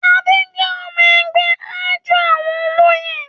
Adé jẹ́ ọmọ-ẹgbẹ́ àjọ àwọn olóyè.